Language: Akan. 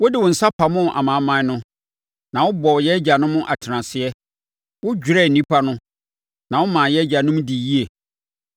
Wode wo nsa pamoo amanaman no na wobɔɔ yɛn agyanom atenaseɛ; wodwerɛɛ nnipa no na womaa yɛn agyanom dii yie.